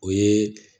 O ye